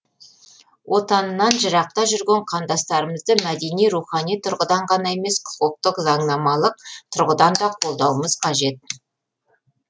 отанынан жырақта жүрген қандастарымызды мәдени рухани тұрғыдан қана емес құқықтық заңнамалық тұрғыдан да қолдауымыз қажет